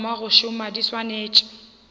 thoma go šoma di swanetše